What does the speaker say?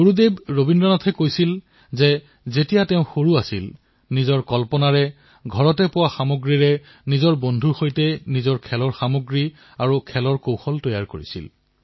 গুৰুদেৱ ঠাকুৰে কৈছিল যে যেতিয়া তেওঁ সৰু আছিল তেতিয়া নিজৰ কল্পনাৰ জৰিয়তে ঘৰতে পোৱা সামগ্ৰীৰ দ্বাৰা নিজৰ বন্ধুবৰ্গৰ সৈতে খেলাসামগ্ৰী নিৰ্মাণ কৰিছিল